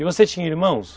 E você tinha irmãos?